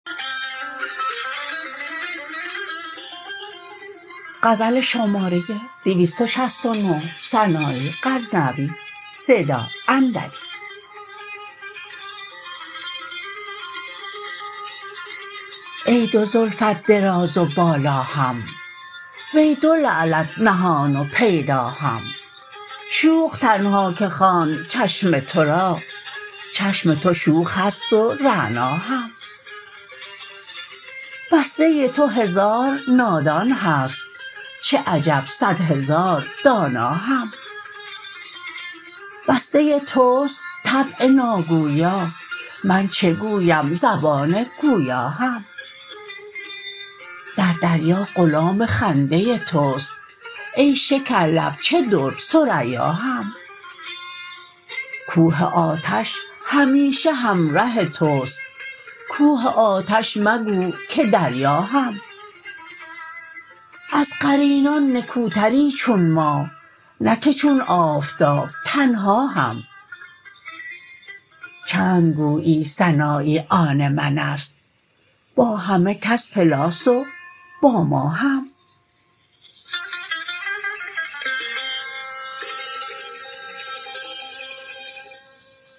ای دو زلفت دراز و بالا هم وی دو لعلت نهان و پیدا هم شوخ تنها که خواند چشم ترا چشم تو شوخ هست و رعنا هم بسته تو هزار نادان هست چه عجب صدهزار دانا هم بسته تست طبع ناگویا من چه گویم زبان گویا هم در دریا غلام خنده تست ای شکر لب چه در ثریا هم کوه آتش همیشه همره تست کوه آتش مگو که دریا هم از قرینان نکوتری چون ماه نه که چون آفتاب تنها هم چند گویی سنایی آن منست با همه کس پلاس و با ما هم